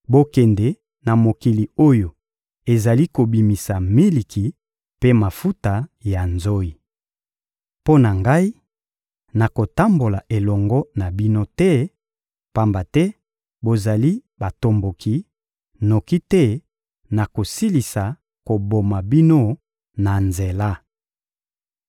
Bokende na mokili oyo ezali kobimisa miliki mpe mafuta ya nzoyi. Mpo na Ngai, nakotambola elongo na bino te, pamba te bozali batomboki, noki te nakosilisa koboma bino na nzela.